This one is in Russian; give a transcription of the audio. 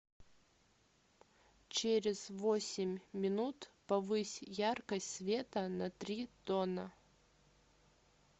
через восемь минут повысь яркость света на три тона